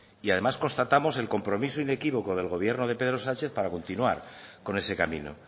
y además constatamos el compromiso inequívoco del gobierno de pedro sánchez para continuar con ese camino